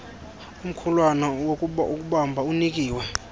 omkhulwana wokubamba unikiwe